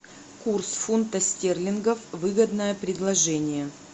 курс фунта стерлингов выгодное предложение